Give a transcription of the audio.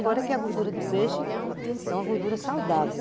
Embora que a gordura de peixe é uma gordura saudável.